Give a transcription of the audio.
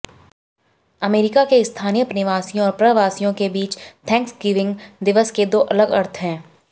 अमरीका के स्थानीय निवासियों और अप्रवासियों के बीच थैंक्सगिविंग दिवस के दो अलग अर्थ हैं